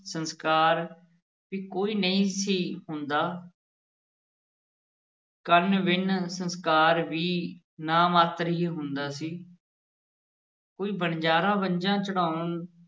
ਸੰਸਕਾਰ ਵੀ ਕੋਈ ਨਹੀਂ ਸੀ ਹੁੰਦਾ ਕੰਨ-ਵਿੰਨ੍ਹ ਸੰਸਕਾਰ ਵੀ ਨਾਂ-ਮਾਤਰ ਹੀ ਹੁੰਦਾ ਸੀ ਕੋਈ ਵਣਜਾਰਾ ਵੰਝਾਂ ਚੜ੍ਹਾਉਣ